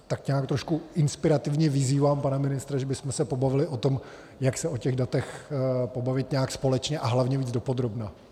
Tak nějak trošku inspirativně vyzývám pana ministra, že bychom se pobavili o tom, jak se o těch datech pobavit nějak společně a hlavně více dopodrobna.